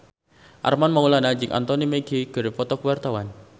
Armand Maulana jeung Anthony Mackie keur dipoto ku wartawan